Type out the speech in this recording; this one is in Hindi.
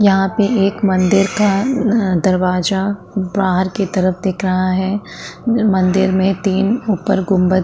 यहाँ पे एक मंदिर का अ-अ दरवाजा बाहर की तरफ दिख रहा है मंदिर में तीन उप्पर गुम्बद --